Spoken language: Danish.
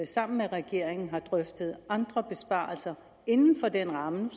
sammen med regeringen har drøftet andre besparelser inden for den ramme om